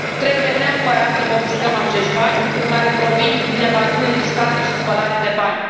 Trebuie neapărat să confiscăm acești bani care provin din evaziune fiscală și spălare de bani.